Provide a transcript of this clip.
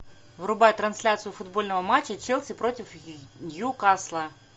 врубай трансляцию футбольного матча челси против ньюкасла